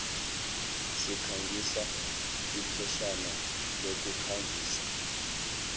sikhangiso ipheshana lokukhangisa